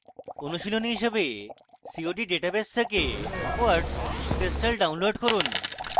অনুশীলনী হিসাবে cod database থেকে quartz crystal download করুন